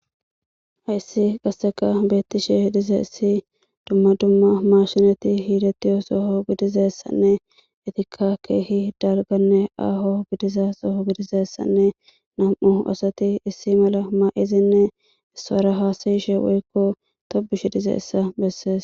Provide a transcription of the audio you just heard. Hayssi qasseka beettishe dize issi dumma dumma mashinati hiidetiyo soho gidizessanne etika keehi dalganne aaho gidiza soho gidizessanne nam7u asati issi mala ma7izinne issara haasayishe woykko tobushi dize issa bessees.